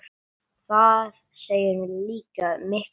Það segir líka mikla sögu.